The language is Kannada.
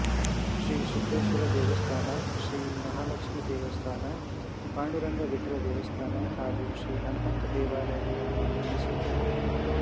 ಶ್ರೀ ಸಿದ್ದೇಶ್ವರ ದೇವಸ್ಥಾನ ಶ್ರೀ ಮಹಾಲಕ್ಷ್ಮಿ ದೇವಸ್ಥಾನ ಪಾಂಡುರಂಗ ವಿಠ್ಠಲ ದೇವಸ್ಥಾನ ಹಾಗೂ ಶ್ರೀ ಹಣಮಂತ ದೇವಾಲಯಗಳನ್ನು ನಿರ್ಮಿಸಿದ್ದಾರೆ